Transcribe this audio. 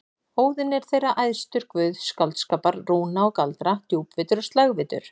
Óðinn er þeirra æðstur, guð skáldskapar, rúna og galdra, djúpvitur og slægvitur.